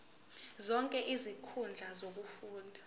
zonke izinkundla zokufunda